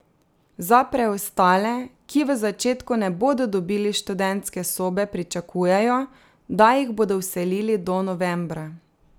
Za preostale, ki v začetku ne bodo dobili študentske sobe, pričakujejo, da jih bodo vselili do novembra.